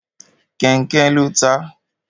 Kẹnkẹ lo taa